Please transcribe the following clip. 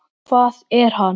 Hvað er hann?